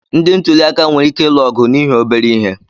Ndị ntuliaka nwere ike ịlụ ọgụ n'ihi obere ihe.